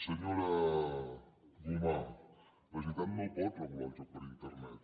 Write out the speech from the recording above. senyora gomà la generalitat no pot regular el joc per internet